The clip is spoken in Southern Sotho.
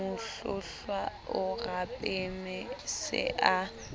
mohlohlwa o rapame se a